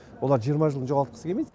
олар жиырма жылын жоғалтқысы келмейді